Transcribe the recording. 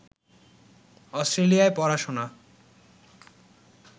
অস্ট্রেলিয়ায় পড়াশোনা